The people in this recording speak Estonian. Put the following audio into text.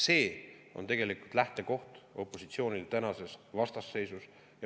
See on opositsiooni lähtekoht tänases vastasseisus.